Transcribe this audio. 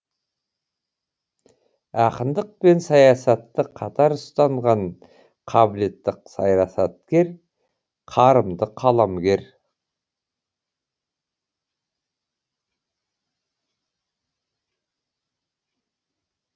ақындық пен саясатты қатар ұстанған қабілетті саясаткер қарымды қаламгер